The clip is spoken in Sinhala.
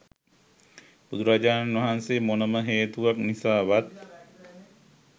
බුදුරජාණන් වහන්සේ මොනම හේතුවක් නිසාවත්